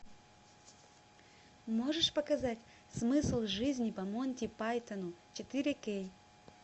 можешь показать смысл жизни по монти пайтону четыре кей